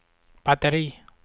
batteri